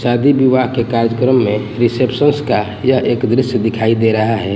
शादी विवाह के कार्यक्रम में रिसेप्शन का यह एक दृश्य दिखाई दे रहा है।